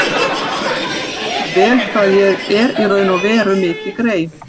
Hún vissi auðvitað vel hvað ég er í raun og veru mikið grey.